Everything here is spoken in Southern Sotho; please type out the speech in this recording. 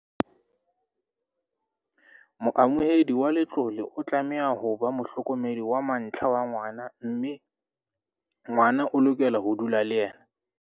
Moamohedi wa letlole o tlameha ho ba mohlokomedi wa mantlha wa ngwana mme ngwana o lokela ho dula le yena.